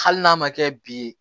Hali n'a ma kɛ bi ye